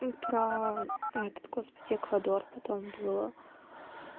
ну про этот господи эквадор потом было